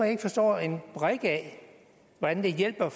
ikke forstår en brik af hvordan det hjælper